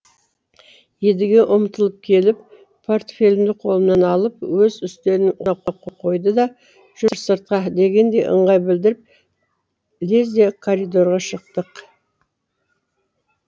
едіге ұмтылып келіп портфелімді қолымнан алып өз үстелінің қойды да жүр сыртқа дегендей ыңғай білдіріп лезде коридорға шықтық